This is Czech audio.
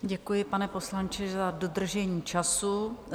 Děkuji, pane poslanče, za dodržení času.